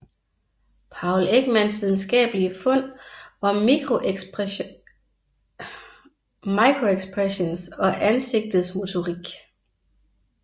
Paul Ekmans videnskabelige fund om microexpressions og ansigtets motorik